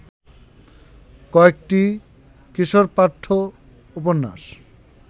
কয়েকটি কিশোরপাঠ্য উপন্যাস